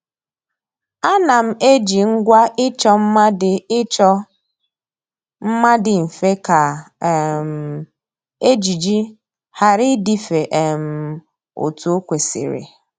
Ànà m eji ngwa ịchọ mma dị ịchọ mma dị mfe kà um ejiji ghara ịdịfe um otu o kwesịrị